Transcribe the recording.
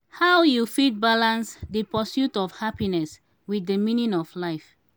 how you fit balance di pursuit of happiness with di meaning of life?